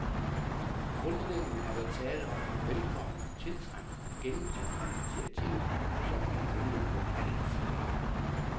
Grundlæggende er der tale om et velkomment, tiltrængt og gennemtænkt initiativ, som vi har ventet på alt for længe.